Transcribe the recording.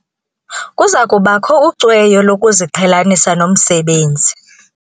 Kuza kubakho ucweyo lokuziqhelanisa nomsebenzi.